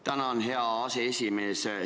Tänan, hea aseesimees!